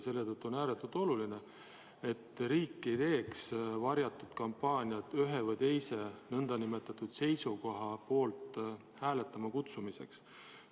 Selle tõttu on ääretult oluline, et riik ei teeks varjatud kampaaniaid ühe või teise seisukoha poolt hääletama kutsumiseks.